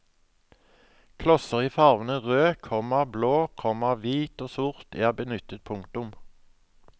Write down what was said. Klosser i farvene rød, komma blå, komma hvit og sort er benyttet. punktum